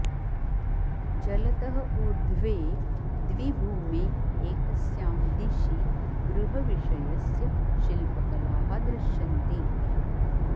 जलतः ऊर्ध्वे द्विभूमे एकस्यां दिशि गृहविषयस्य शिल्पकलाः दृश्यन्ते